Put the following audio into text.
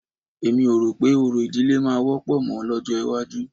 Èmi ò rò pé orò ìdílé máa wọ́pọ̀ mọ́ lọ́jọ́ iwájú